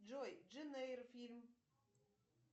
джой джейн эйр фильм